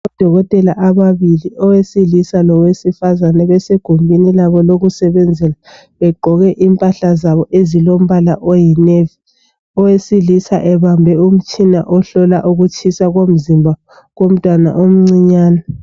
Odokotela ababili owesilisa lowesifazana besegumbeni labo lokusebenzela. Begqoke impahla zabo ezilombala oyinavy. Owesilisa ebambe umtshina ohlola ukutshisa komzimba komntwana omncinyane.